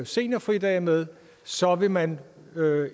seniorfridage med så vil man